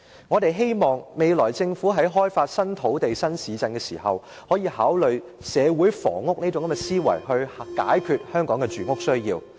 我們希望政府未來開發新土地及新市鎮時，可以考慮社會房屋這種概念，以解決香港的住屋需要。